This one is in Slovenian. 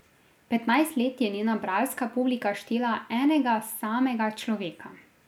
Petnajst let je njena bralska publika štela enega samega človeka.